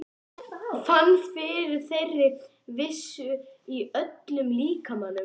Fann fyrir þeirri vissu í öllum líkamanum.